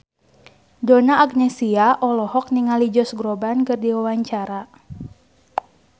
Donna Agnesia olohok ningali Josh Groban keur diwawancara